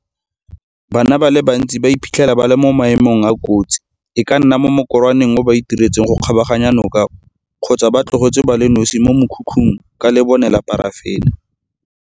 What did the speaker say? Bana ba le bantsi ba iphitlhela ba le mo maemong a a kotsi, e ka nna mo mokorwaneng oo ba o itiretseng go kgabaganya noka kgotsa ba tlogetswe ba le nosi mo mokhukhung ka lebone la parafene.